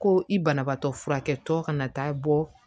Ko i banabaatɔ furakɛtɔ kana taa bɔ